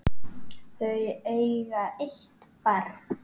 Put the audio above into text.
Þau eiga eitt barn.